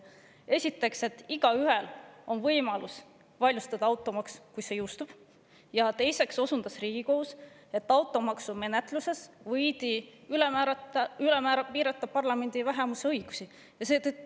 Esiteks, igaühel on võimalus automaks vaidlustada, kui see jõustub, ja teiseks osundas Riigikohus sellele, et automaksu menetlemisel võidi parlamendi vähemuse õigusi ülemäära piirata.